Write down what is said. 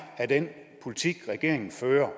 af den politik regeringen fører